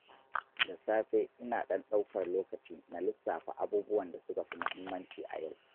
Da safe, ina ɗan ɗaukar lokaci na lissafa abubuwan da suka fi muhimmanci a yau.